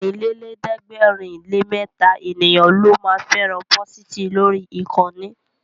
Ọ̀rìnlélẹ̀ẹ́dẹ́gbèrinlémẹta ènìyàn ló ma fẹ́ràn pósìtì lórí ìkànnì